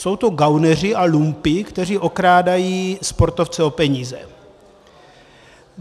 Jsou to gauneři a lumpi, kteří okrádají sportovce o peníze.